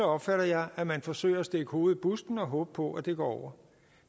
opfatter jeg at man forsøger at stikke hovedet i busken og håbe på at det går over